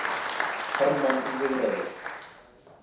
Hermann í viðræður